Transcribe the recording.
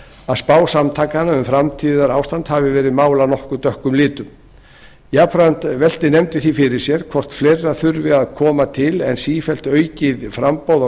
að spá samtakanna um framtíðarástand hafi verið málað nokkuð dökkum litum jafnframt veltir nefndin því fyrir sér hvort fleira þurfi ekki að koma til en sífellt aukið framboð á